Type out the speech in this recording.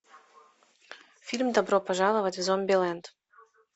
фильм добро пожаловать в зомбилэнд